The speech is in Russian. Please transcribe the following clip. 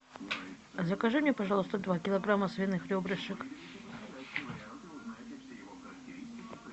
закажи мне пожалуйста два килограмма свиных ребрышек